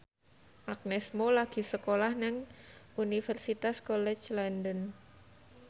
Agnes Mo lagi sekolah nang Universitas College London